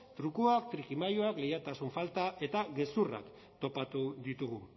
trukuak trikimailuak leialtasun falta eta gezurrak topatu ditugu